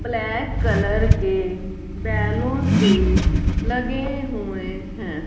Black colour के balloons भी लगे हुए हैं।